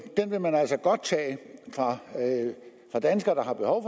den vil man altså godt tage fra danskere der har behov